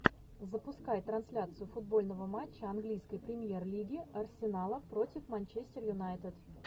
запускай трансляцию футбольного матча английской премьер лиги арсенала против манчестер юнайтед